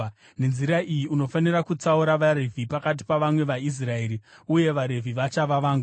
Nenzira iyi unofanira kutsaura vaRevhi pakati pavamwe vaIsraeri, uye vaRevhi vachava vangu.